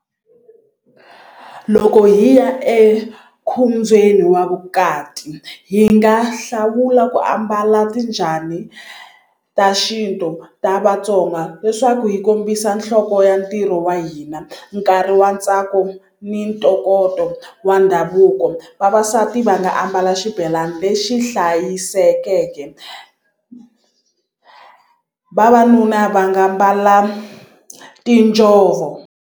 Loko hi ya ekhombyeni wa vukati hi nga hlawula ku ambala ti njhani ta xintu ta Vatsonga leswaku hi kombisa nhloko ya ntirho wa hina nkarhi wa ntsako ni ntokoto wa ndhavuko vavasati va nga ambala xibelani lexi hlayisekeke vavanuna va nga mbala tinjhovo.